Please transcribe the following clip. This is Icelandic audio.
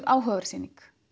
áhugaverð sýning